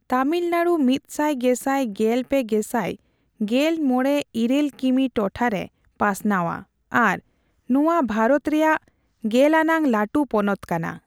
ᱛᱟᱢᱤᱞᱱᱟᱲᱩ ᱢᱤᱛ ᱥᱟᱭ ᱜᱮᱥᱟᱭ ᱜᱮᱞ ᱯᱮ ᱜᱮᱥᱟᱭ ᱜᱮᱞᱢᱚᱲᱮ ᱤᱨᱟᱹᱞ ᱠᱤᱢᱤ ᱴᱚᱴᱷᱟᱨᱮ ᱯᱟᱥᱱᱟᱣᱼᱟ ᱟᱨ ᱱᱚᱣᱟ ᱵᱷᱨᱚᱛ ᱨᱮᱭᱟᱜ ᱜᱮᱞ ᱟᱱᱟᱝ ᱞᱟᱹᱴᱩ ᱯᱚᱱᱚᱛ ᱠᱟᱱᱟ ᱾